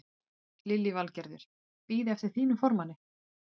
Lillý Valgerður: Bíða eftir þínum formanni?